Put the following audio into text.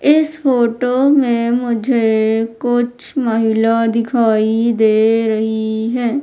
इस फोटो में मुझे कुछ महिला दिखाई दे रही हैं।